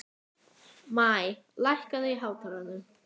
Maj, lækkaðu í hátalaranum.